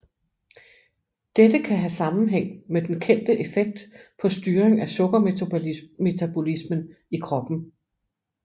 Dette kan have sammenhæng med den kendte effekt på styring af sukkermetabolismen i kroppen